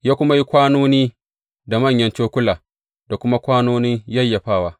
Ya kuma yi kwanoni da manyan cokula da kuma kwanonin yayyafawa.